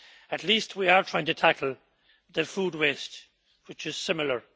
At least we are trying to tackle the food waste, which is similar.